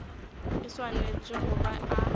e swanetše go ba a